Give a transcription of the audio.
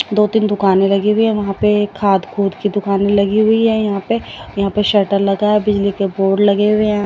दो तीन दुकानें लगी हुई है वहां पे खाद खूद की दुकानें लगी हुई है यहां पे यहां पे शटर लगा है बिजली के बोर्ड लगे हुए है।